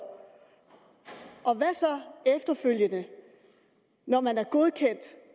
og hvad så efterfølgende når man er godkendt